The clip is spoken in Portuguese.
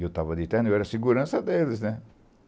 Eu tava de terno, eu era a segurança deles, né?